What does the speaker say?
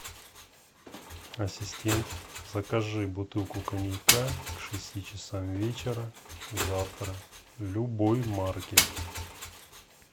ассистент закажи бутылку коньяка к шести часам вечера завтра любой марки